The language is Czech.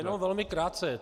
Jenom velmi krátce.